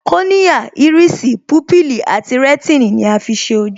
Kòríà, Ìrísì, púpìlì àti rẹ̀tínì ni a fi ṣe ojú